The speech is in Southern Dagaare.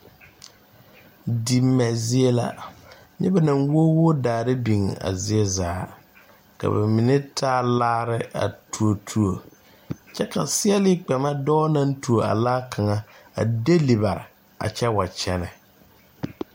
Di mɛ zie la nyɛ ba naŋ woo woo daare biŋ a zie zaa ka ba mine taa laare a tuo tuo kyɛ ka sèèlee kpɛ ma dɔɔ naŋ tuo a laa kaŋa denli bare a kyɛ wa kyɛnɛ.